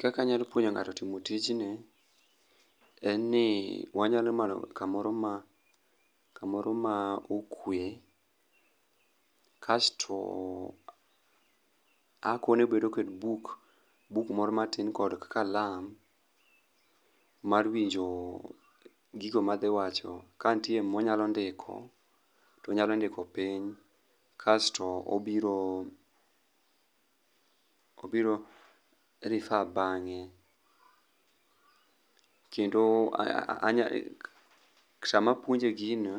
Kaka anyalo puonjo ng'ato timo tijni en ni wanyalo manyo kamoro ma kamoro ma okwe. Kasto akone obedo kod buk, buk moro matin kod kalam mar winjo gigo madhi wacho kantie ma wanyalo ndiko to onyalo ndiko piny. Kasto obiro obiro refer bang'e. Kendo sama apuonje gino